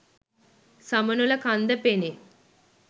සමනොළ කන්ද පෙනේ.